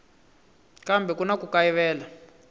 kambe ku na ku kayivela